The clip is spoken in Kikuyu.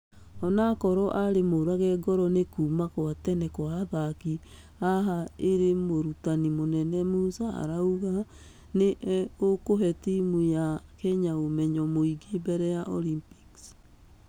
ũnokorwo arrĩ mũrage ngoro nĩ kuumakwatenekwaathaki aha ĩrĩ mũrutani mũnene musa arauga .....nĩ ũkũhe timũ ya kenya ũmenyo mũingĩ mbere ya olgmpics.